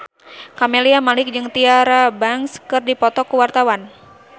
Camelia Malik jeung Tyra Banks keur dipoto ku wartawan